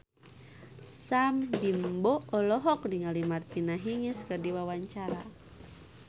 Sam Bimbo olohok ningali Martina Hingis keur diwawancara